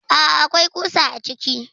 Aa akwai ƙusa a ciki.